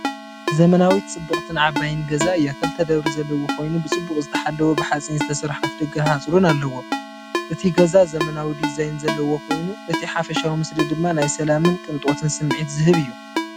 ዘመናዊት ጽብቕትን ዓባይን ገዛ እያ። ክልተ ደብሪ ዘለዎ ኮይኑ ብጽቡቕ ዝተሓለወ ብሓጺን ዝተሰርሐ ኣፍደገን ሓጹርን ኣለዎ። እቲ ገዛ ዘመናዊ ዲዛይን ዘለዎ ኮይኑ እቲ ሓፈሻዊ ምስሊ ድማ ናይ ሰላምን ቅንጦትን ስምዒት ዝህብ እዩ።